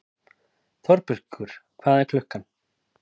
Þorbergur, hvað er klukkan?